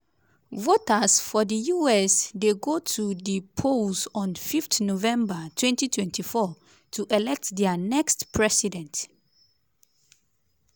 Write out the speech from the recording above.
voters for di us dey go to di polls on 5 november 2024 to elect dia next president.